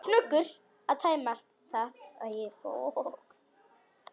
Snöggur að tæma það.